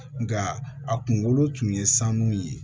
Nka a kunkolo tun ye sanu ye